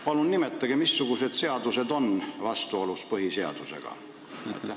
Palun nimetage, missugused seadused on vastuolus põhiseadusega!